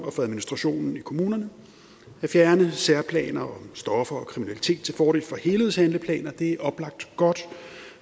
og for administrationen i kommunerne at fjerne særplaner om stoffer og kriminalitet til fordel for helhedshandleplaner er oplagt godt